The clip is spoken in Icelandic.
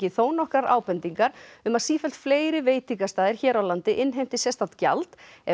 þónokkrar ábendingar um að sífellt fleiri veitingastaðir hér á landi innheimti sérstakt gjald ef